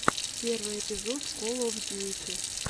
первый эпизод кол оф дьюти